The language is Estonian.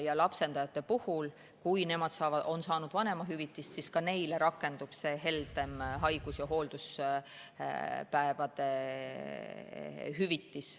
Ka lapsendajate suhtes, kui nemad on saanud vanemahüvitist, rakendub pärast selle muudatuse jõustumist see heldem haigus‑ ja hoolduspäevade hüvitis.